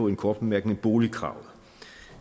en kort bemærkning boligkravet